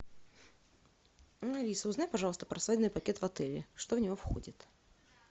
алиса узнай пожалуйста про свадебный пакет в отеле что в него входит